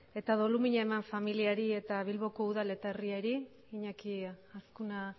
eta doluminak eman familiari eta bilboko udal eta herriari iñaki azkuna